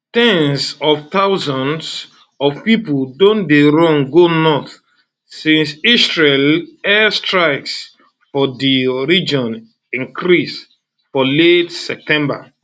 ten s of thousands of pipo don dey run go north since israeli airstrikes for di region increase for late september